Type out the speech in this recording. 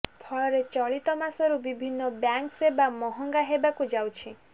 ଫଳରେ ଚଳିତମାସରୁ ବିଭିନ୍ନ ବ୍ୟାଙ୍କ ସେବା ମହଙ୍ଗା ହେବାକୁ ଯାଉଛି